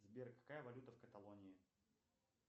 сбер какая валюта в каталонии